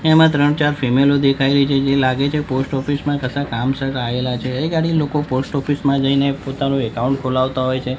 એમા ત્રણ-ચાર ફિમેલો દેખાય રહી છે જે લાગે છે પોસ્ટ ઓફિસ મા કસા કામસર આયેલા છે એ ગાડી લોકો પોસ્ટ ઓફિસ મા જઈને પોતાનુ એકાઉન્ટ ખોલાવતા હોય છે.